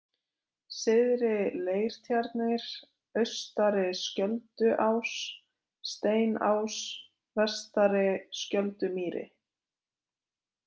Syðri-Leirtjarnir, Austari-Skjölduás, Steinás, Vestari-Skjöldumýri